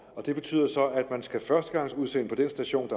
og det betyder så at man skal førstegangsudsende på den station